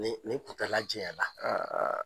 O o kuntala jɛɲala .